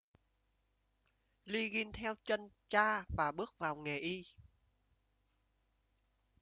liggins theo chân cha và bước vào nghề y